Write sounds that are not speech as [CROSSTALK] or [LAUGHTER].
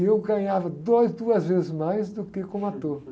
E eu ganhava dois, duas vezes mais do que como ator. [LAUGHS]